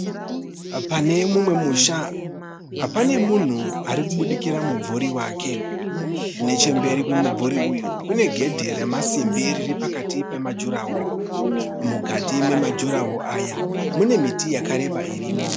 Pane mumwe musha pane munhu arikubudikira mumvuri wake. Nechemberi kwemumvuri uyu kune gedhe remasimbi riri pakati pemajuraho. Mukati memajurahoro aya mune miti yakareba irimo.